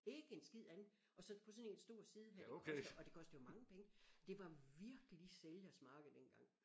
Ikke en skid andet og så på sådan en stor side her og det koster og det kostede jo mange penge det var virkelig sælgers marked dengang